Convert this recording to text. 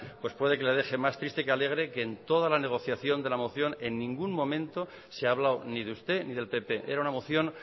pues puede que le deje más triste que alegre que en toda la negociación de la moción en ningún momento se ha hablado ni de usted ni del pp era una moción